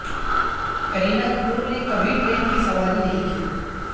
کرینہ کپور نے کبھی ٹرین کی سواری نہیں کی